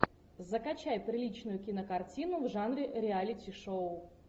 закачай приличную кинокартину в жанре реалити шоу